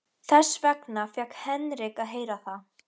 Þess vegna fékk Henrik að heyra það.